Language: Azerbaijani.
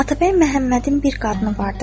Atabəy Məhəmmədin bir qadını vardır.